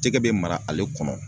Jɛgɛ bɛ mara ale kɔnɔ